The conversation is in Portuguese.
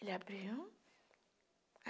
Ele abriu.